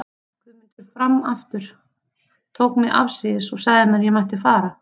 Guðmundur fram aftur, tók mig afsíðis og sagði mér að ég mætti fara.